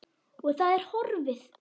Að það er horfið!